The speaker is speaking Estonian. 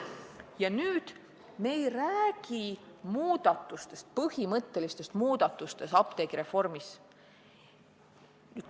Praegu me ei räägi põhimõttelistest muudatustest apteegireformis.